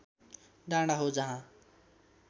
डाँडा हो जहाँ